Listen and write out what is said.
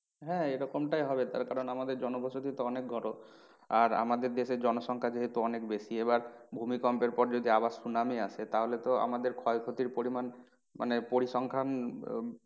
হ্যাঁ এরকমটাই হবে কারণ আমাদের জনবসতি তো অনেক ঘন আর আমাদের দেশের জনসংখ্যা যেহেতু অনেক বেশি এবার ভূমিকম্পের পর যদি আবার সুনামি আসে তাহলে তো আমাদের ক্ষয়ক্ষতির পরিমান